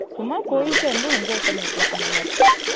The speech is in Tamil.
சும்மா போயிட்டு வந்து enjoy பண்ணிக்கலாம் அந்த மாறி